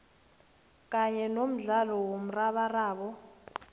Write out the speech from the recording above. kanye nomdlalo womrabaraba